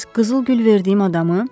Bəs qızıl gül verdiyim adamı?